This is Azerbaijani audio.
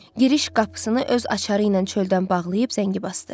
Giriş qapısını öz açarı ilə çöldən bağlayıb zəngi basdı.